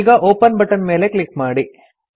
ಈಗ open button ಮೇಲೆ click ಮಾಡಿ